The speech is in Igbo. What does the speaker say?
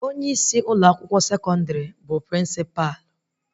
Onye isi Ụlọ akwụkwọ sekọndrị bụ Prịnsịpa